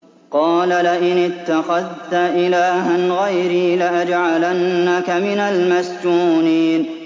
قَالَ لَئِنِ اتَّخَذْتَ إِلَٰهًا غَيْرِي لَأَجْعَلَنَّكَ مِنَ الْمَسْجُونِينَ